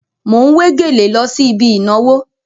Mò ń wé gèlè lọ sí ibi ìnàwó.